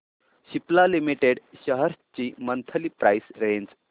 Cipla limited shares ची monthly price range